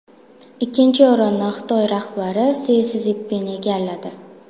Ikkinchi o‘rinni Xitoy rahbari Si Szinpin egalladi.